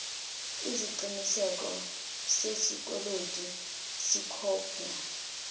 iziqinisekiso sesikweletu sikhopna